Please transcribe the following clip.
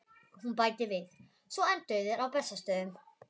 Hún bætir við: Svo enduðu þeir á Bessastöðum